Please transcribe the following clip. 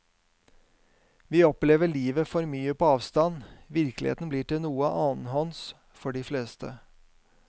Vi opplever livet for mye på avstand, virkeligheten blir til noe annenhånds for de fleste.